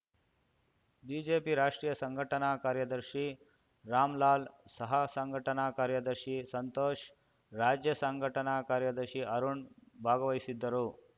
BJP ರಾಷ್ಟ್ರೀಯ ಸಂಘಟನಾ ಕಾರ್ಯದರ್ಶಿ ರಾಮ್‌ಲಾಲ್‌ ಸಹಸಂಘಟನಾ ಕಾರ್ಯದರ್ಶಿ ಸಂತೋಷ್‌ ರಾಜ್ಯ ಸಂಘಟನಾ ಕಾರ್ಯದರ್ಶಿ ಅರುಣ್‌ ಭಾಗವಹಿಸಿದ್ದರು